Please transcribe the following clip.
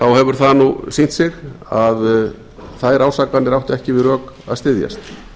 þá hefur það sýnt sig að þær ásakanir áttu ekki við rök að styðjast